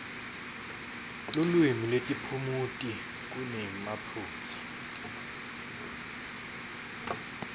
lulwimi netiphumuti kunemaphutsa